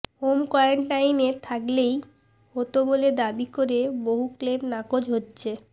home কোয়রান্টিনে থাকলেই হত বলে দাবি করে বহু ক্লেম নাকচ হচ্ছে